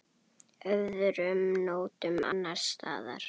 Öðrum nóttum annars staðar?